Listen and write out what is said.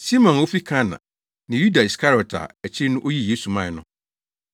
Simon a ofi Kana ne Yuda Iskariot a akyiri no, oyii Yesu mae no.